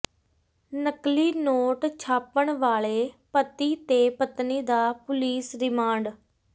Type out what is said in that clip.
ਨਕਲੀ ਨੋਟ ਛਾਪਣ ਵਾਲੇ ਪਤੀ ਤੇ ਪਤਨੀ ਦਾ ਪੁਲੀਸ ਰਿਮਾਂਡ